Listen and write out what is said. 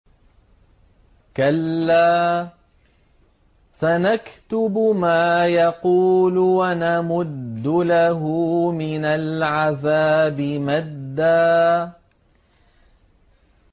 كَلَّا ۚ سَنَكْتُبُ مَا يَقُولُ وَنَمُدُّ لَهُ مِنَ الْعَذَابِ مَدًّا